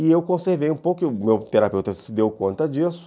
E eu conservei um pouco, e o meu terapeuta se deu conta disso,